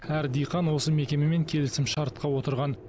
әр диқан осы мекемемен келісімшартқа отырған